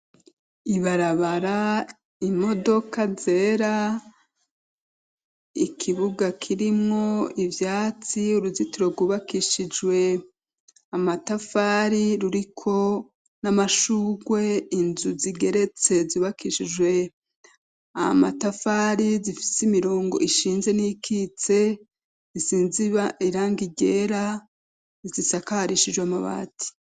Ibarabara, imodoka zera, ikibuga kirimwo ivyatsi, uruzitiro rwubakishijwe amatafari ruriko n'amashurwe, inzu zigeretse zubakishijwe amatafari zifise imirongo ishinze n'iyikitse isize irangi ryera, zisakarishijwe amabati.